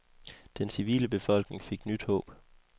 Den civile befolkning fik nyt håb.